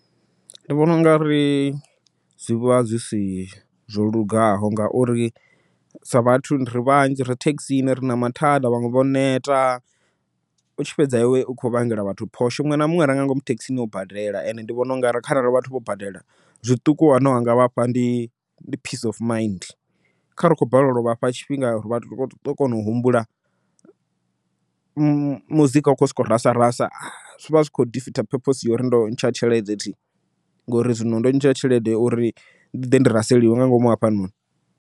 Ndi vhona ungari zwi vha zwi si zwo lugaho, ngauri sa vhathu ri vhanzhi ri thekhisini ri na mathada vhaṅwe vho neta, u tshi fhedza iwe ukho vhangela vhathu phosho. Muṅwe na muṅwe are nga ngomu thekhisini o badela and ndi vhona ungari kharali vhathu vho badela, zwiṱuku zwine wanga vhafha ndi peace of mind kha rali u khou balelwa u vhafha tshifhinga vha ṱo kona u humbula, muzika u kho soko rasa rasa zwi vha zwi kho purpose ya uri ndo ntsha tshelede thi ngori zwino ndo ntsha tshelede uri ndi ḓe ndi raseliwe nga ngomu hafhanoni.